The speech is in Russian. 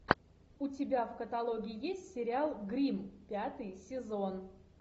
у тебя в каталоге есть сериал гримм пятый сезон